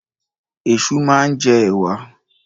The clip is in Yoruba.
Ẹ̀ṣu máa ń jẹ ẹ̀wà.